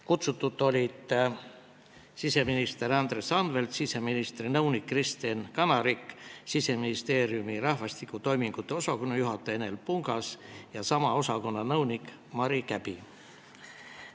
Kohale olid kutsutud siseminister Andres Anvelt, siseministri nõunik Kristen Kanarik, Siseministeeriumi rahvastiku toimingute osakonna juhataja Enel Pungas ja sama osakonna nõunik Mari Käbi.